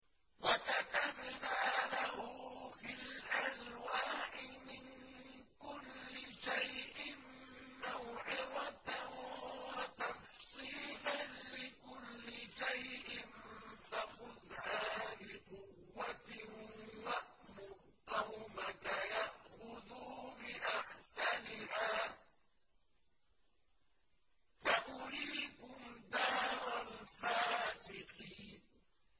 وَكَتَبْنَا لَهُ فِي الْأَلْوَاحِ مِن كُلِّ شَيْءٍ مَّوْعِظَةً وَتَفْصِيلًا لِّكُلِّ شَيْءٍ فَخُذْهَا بِقُوَّةٍ وَأْمُرْ قَوْمَكَ يَأْخُذُوا بِأَحْسَنِهَا ۚ سَأُرِيكُمْ دَارَ الْفَاسِقِينَ